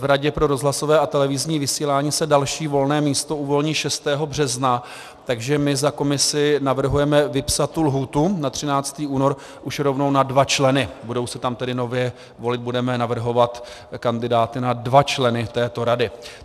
V Radě pro rozhlasové a televizní vysílání se další volné místo uvolní 6. března, takže my za komisi navrhujeme vypsat tu lhůtu na 13. únor už rovnou na dva členy, budou se tam tedy nově volit - budeme navrhovat kandidáty na dva členy této rady.